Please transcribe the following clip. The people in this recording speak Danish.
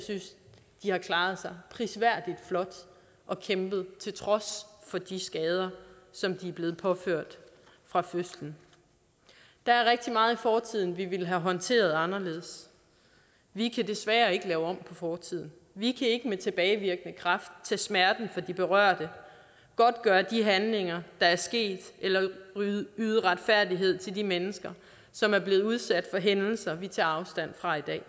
de har klaret sig prisværdigt flot og kæmpet til trods for de skader som de er blevet påført fra fødslen der er rigtig meget i fortiden vi ville have håndteret anderledes vi kan desværre ikke lave om på fortiden vi kan ikke med tilbagevirkende kraft tage smerten fra de berørte godtgøre de handlinger der er sket eller yde retfærdighed til de mennesker som er blevet udsat for hændelser vi tager afstand fra i dag